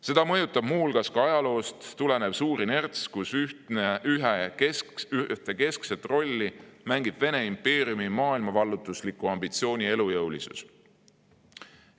Seda mõjutab muuhulgas ajaloost tulenev suur inerts, kus ühte keskset rolli mängib Vene impeeriumi maailmavallutusliku ambitsiooni elujõulisus.